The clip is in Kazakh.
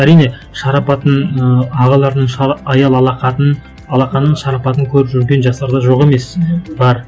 әрине шарапатын ыыы ағалардың аялы алақанын шарапатын көріп жүрген жастар да жоқ емес мхм бар